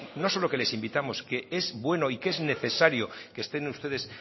no solo que les invitamos que es bueno y que es necesario que estén ustedes